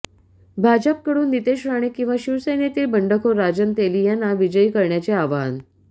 भाजपकडून नितेश राणे किंवा शिवसेनेतील बंडखोर राजन तेली यांना विजयी करण्याचे आवाहन